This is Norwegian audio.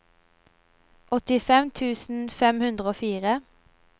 åttifem tusen fem hundre og fire